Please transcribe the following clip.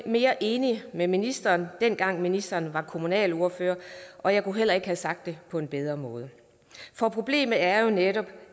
mere enig med ministeren dengang ministeren var kommunalordfører og jeg kunne heller ikke have sagt det på en bedre måde for problemet er jo netop